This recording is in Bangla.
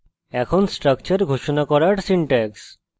এখন structure ঘোষণা করার syntax